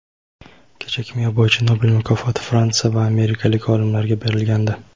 kecha kimyo bo‘yicha Nobel mukofoti fransiya va amerikalik olimlarga berilgandi.